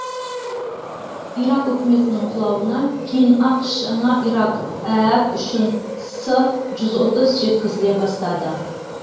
ирак үкіметінің құлауына кейін ақш жаңа ирак әәк үшін с жүз отыз жеткізіле бастады